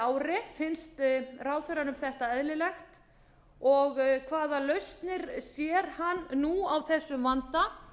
ári finnst ráðherranum þetta eðlilegt og hvaða lausnir sér hann nú á þessum vanda